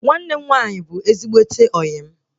Nwanne m nwaanyị bụ ezigbote ọyị m